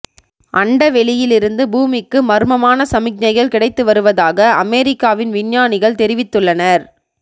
அண்டவெளியிலிருந்து பூமிக்கு மர்மமான சமிக்ஞைகள் கிடைத்து வருவதாக அமெரிக்காவின் விஞ்ஞானிகள் தெரிவித்துள்ளனர்